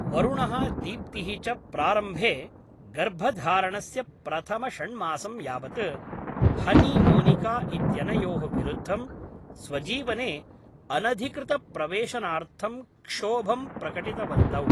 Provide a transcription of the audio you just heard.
वरुणः दीप्तिः च प्रारम्भे, गर्भधारणस्य प्रथमषण्मासं यावत्, हनी मोनिका इत्यनयोः विरुद्धं, स्वजीवने अनधिकृतप्रवेशनार्थं क्षोभं प्रकटितवन्तौ।